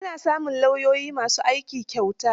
Ana samun lauyoyi ma su aiki kyauta.